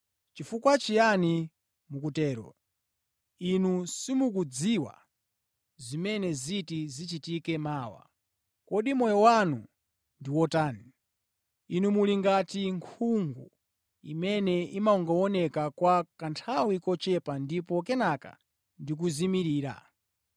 Chifukwa chiyani mukutero? Inu simukudziwa zimene ziti zichitike mawa. Kodi moyo wanu ndi wotani? Inu muli ngati nkhungu imene imangooneka kwa kanthawi kochepa ndipo kenaka ndikuzimirira.